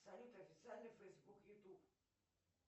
салют официальный фейсбук ютуб